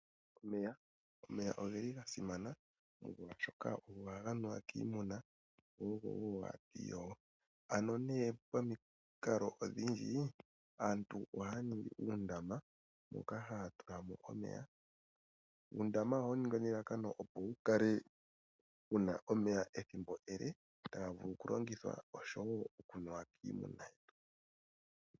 Omeya , omeya ogeli ga simana molwashoka ogo haga nuwa kiimuna go ogo wo hatu iyogo. Ano nee pamikalo odhindji aantu ohaya ningi uundama moka haya tulamo omeya. Uundama ohawu ningwa nelalakano opo wu kale wuna omeya ethimbo ele taga vulu oku longithwa osho wo ga vule oku nuwa kiimuna.